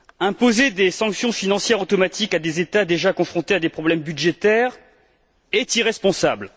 Imposer des sanctions financières automatiques à des États déjà confrontés à des problèmes budgétaires est irresponsable.